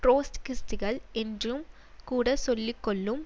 ட்ரொட்ஸ்கிஸ்டுகள் என்றும் கூட சொல்லி கொள்ளும்